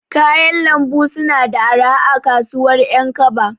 Kayan Lambu suna da arha a kasuwar ƴankaba.